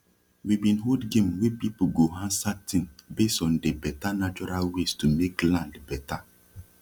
we bin hold game wey people go ansa tin base on de beta natural ways to make land beta